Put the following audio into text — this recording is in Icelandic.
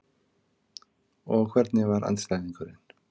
Og hvernig var andstæðingurinn?